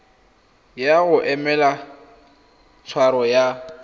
ya go emela tshwaro ya